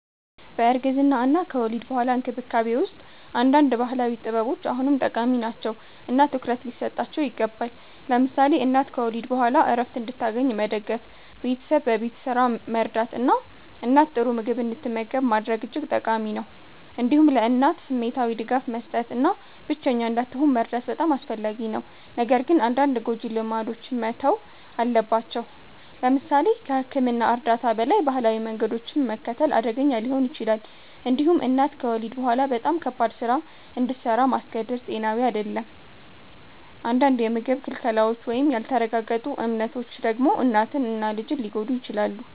በእርግዝና እና ከወሊድ በኋላ እንክብካቤ ውስጥ አንዳንድ ባህላዊ ጥበቦች አሁንም ጠቃሚ ናቸው እና ትኩረት ሊሰጣቸው ይገባል። ለምሳሌ እናት ከወሊድ በኋላ ዕረፍት እንድታገኝ መደገፍ፣ ቤተሰብ በቤት ስራ መርዳት እና እናት ጥሩ ምግብ እንድትመገብ ማድረግ እጅግ ጠቃሚ ነው። እንዲሁም ለእናት ስሜታዊ ድጋፍ መስጠት እና ብቸኛ እንዳትሆን መርዳት በጣም አስፈላጊ ነው። ነገር ግን አንዳንድ ጎጂ ልማዶች መተው አለባቸው። ለምሳሌ ከሕክምና እርዳታ በላይ ባህላዊ መንገዶችን መከተል አደገኛ ሊሆን ይችላል። እንዲሁም እናት ከወሊድ በኋላ በጣም ከባድ ስራ እንድሰራ ማስገደድ ጤናዊ አይደለም። አንዳንድ የምግብ ክልከላዎች ወይም ያልተረጋገጡ እምነቶች ደግሞ እናትን እና ልጅን ሊጎዱ ይችላሉ።